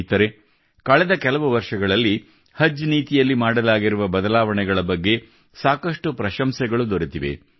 ಸ್ನೇಹಿತರೇ ಕಳೆದ ಕೆಲವು ವರ್ಷಗಳಲ್ಲಿ ಹಜ್ ನೀತಿಯಲ್ಲಿ ಮಾಡಲಾಗಿರುವ ಬದಲಾವಣೆಗಳ ಬಗ್ಗೆ ಸಾಕಷ್ಟು ಪ್ರಶಂಸೆಗಳು ದೊರೆತಿವೆ